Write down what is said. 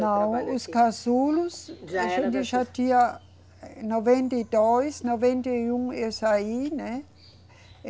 Não, os casulos, a gente já tinha noventa e dois, noventa e um eu saí, né?